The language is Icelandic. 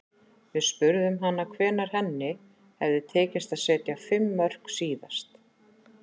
Við spurðum hana hvenær henni hefði tekist að setja fimm mörk síðast.